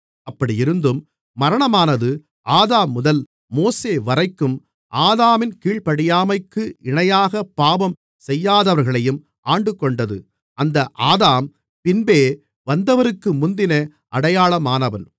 அப்படியிருந்தும் மரணமானது ஆதாம் முதல் மோசே வரைக்கும் ஆதாமின் கீழ்ப்படியாமைக்கு இணையாகப் பாவம் செய்யாதவர்களையும் ஆண்டுகொண்டது அந்த ஆதாம் பின்பே வந்தவருக்கு முந்தின அடையாளமானவன்